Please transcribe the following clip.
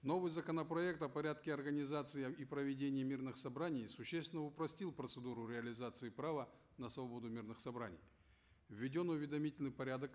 новый законопроект о порядке организации и проведения мирных собраний существенно упростил процедуру реализации права на свободу мирных собраний введен уведомительный порядок